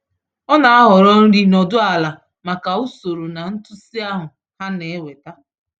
Ọ na-ahọrọ nri nọdụ ala maka usoro na ntụsị ahụ ha na-eweta.